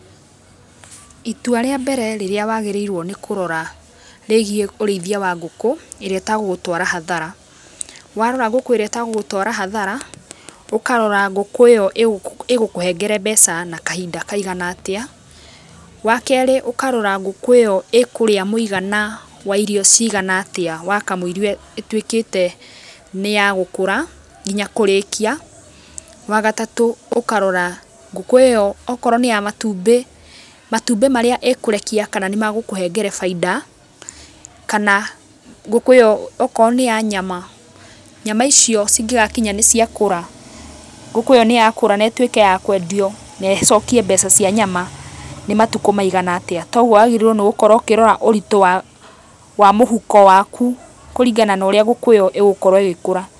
Itua rĩa mbere rĩrĩa wagĩrĩirwo nĩ kũrora rĩgiĩ ũrĩithia wa ngũkũ, ĩrĩa ĩtegũgũtwara hathara. Warora ngũkũ ĩrĩa ĩtegũgũtwara hathara, ũkarora ngũkũ ĩyo ĩgũkũhengera mbeca na kahinda kaigana atĩa, wa kerĩ ũkarora ngũkũ ĩyo ĩkũrĩa mũigana wa irio cigana atĩa wakamũiria ĩtuĩkĩte nĩya gũkũra, nginya kũrĩkia. Wa gatatũ, ũkarora ngũkũ ĩyo okorwo nĩ ya matumbĩ, matumbĩ marĩa ĩkũrekia kana nĩmegũkũhengere bainda, kana ngũkũ ĩyo akorwo nĩ ya nyama, nyama icio cingĩgakinya nĩciakũra, ngũkũ ĩyo nĩyakũra na ĩtuĩke ya kwendio na ĩcokie mbeca cia nyama, nĩmatukũ maigana atĩa. koguo wagĩrĩirwo nĩgũkorwo ũkĩrora ũritũ wa mũhuko waku kũringana na ũrĩa ngũkũ ĩyo ĩgũkorwo ĩgĩkũra.